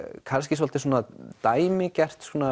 kannski svolítið svona dæmigert svona